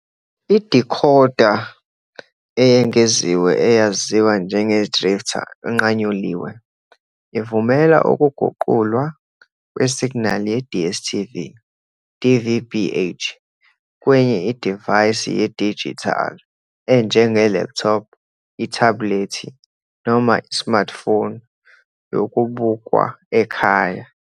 Idikhoda eyengeziwe eyaziwa njengeDrifta, inqanyuliwe, ivumela ukuguqulwa kwesiginali ye-DStv DVB-H kwenye idivaysi yedijithali enjenge-laptop, ithebhulethi noma i-smartphone yokubukwa ekhaya.